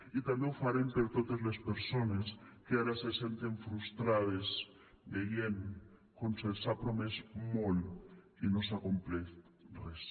i també ho farem per totes les persones que ara se senten frustrades veient com se’ls ha promès molt i no s’ha complert res